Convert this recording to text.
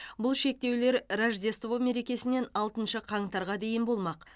бұл шектеулер рождество мерекесінен алтыншы қаңтарға дейін болмақ